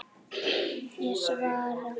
Ég svara.